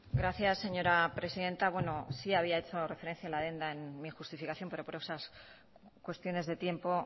gracias señora presidenta bueno sí había hecho referencia a la adenda en mi justificación pero por esas cuestiones de tiempo